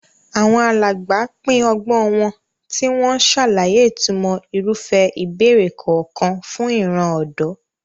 Àwọn alàgbà pín ọgbọ́n wọn, tí wọ́n ń ṣàlàyé ìtumọ̀ irúfẹ́ ìbẹ̀rẹ̀ kọ̀ọ̀kan fún ìran ọ̀dọ́.